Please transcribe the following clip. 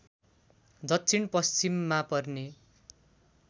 दक्षिण पश्चिममा पर्ने